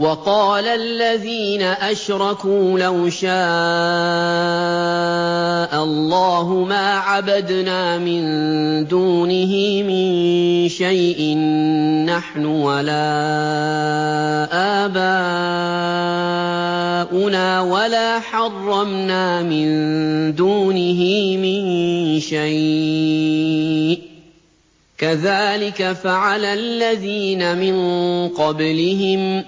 وَقَالَ الَّذِينَ أَشْرَكُوا لَوْ شَاءَ اللَّهُ مَا عَبَدْنَا مِن دُونِهِ مِن شَيْءٍ نَّحْنُ وَلَا آبَاؤُنَا وَلَا حَرَّمْنَا مِن دُونِهِ مِن شَيْءٍ ۚ كَذَٰلِكَ فَعَلَ الَّذِينَ مِن قَبْلِهِمْ ۚ